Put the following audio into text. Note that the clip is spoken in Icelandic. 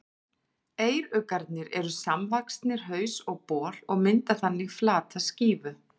Eyruggarnir eru samvaxnir haus og bol og mynda þannig flata skífu.